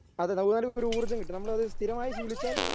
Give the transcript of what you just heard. അതെ ഒരു ഊർജ്ജം കിട്ടും. നമ്മളത് സ്ഥിരമായി ശീലിച്ചാൽ